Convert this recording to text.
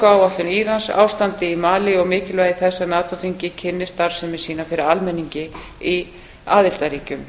kjarnorkuáætlun írans ástandið í malí og mikilvægi þess að nato þingið kynni starfsemi sína fyrir almenningi í aðildarríkjum